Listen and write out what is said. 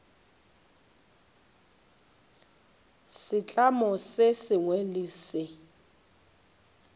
setlamo se sengwe le se